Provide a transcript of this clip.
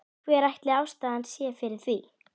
Hver ætli ástæðan sé fyrir því?